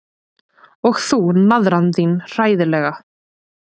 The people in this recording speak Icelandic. Og þú, naðran þín, hræðilega.